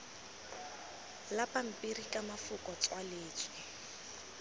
la pampiri ka mafoko tswaletswe